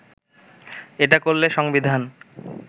এটা করলে সংবিধান